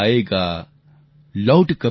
लौट कभी आएगा